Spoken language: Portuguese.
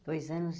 Dois anos.